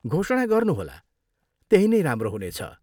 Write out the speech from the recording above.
घोषणा गर्नुहोला। त्यही नै राम्रो हुनेछ।